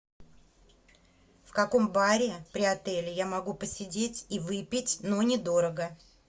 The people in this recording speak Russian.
в каком баре при отеле я могу посидеть и выпить но не дорого